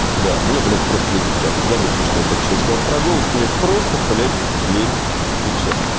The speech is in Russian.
да мне блять просто лень печатать забудь то что я только что сказал про голос мне просто блять лень печатать